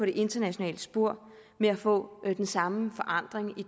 det internationale spor med at få den samme forandring i